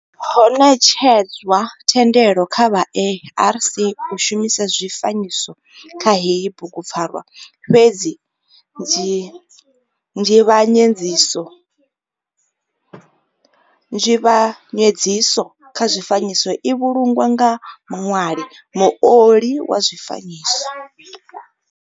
Ho netshedzwa thendelo kha vha ARC u shumisa zwifanyiso kha heyi bugu pfarwa fhedzi nzivhanyedziso kha zwifanyiso i vhulungwa nga muṋwali, muoli wa zwifanyiso.